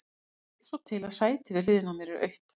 Það vill svo til að sætið við hliðina á mér er autt.